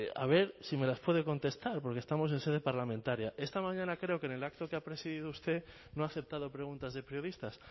a ver si me las puede contestar porque estamos en sede parlamentaria esta mañana creo que en el acto que ha presidido usted no ha aceptado preguntas de periodistas